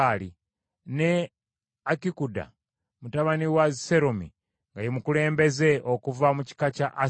ne Akikuda mutabani wa Seromi nga ye mukulembeze okuva mu kika kya Aseri,